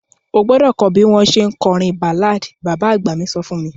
O gbọ́dọ̀ kọ bi o ṣe le kọrin ballad; baba agba mi so fun mi.